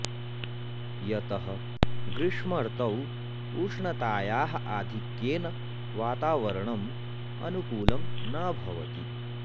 यतः ग्रीष्मर्तौ उष्णतायाः आधिक्येन वातावरनम् अनुकूलं न भवति